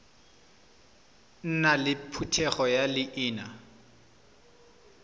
nna le phetogo ya leina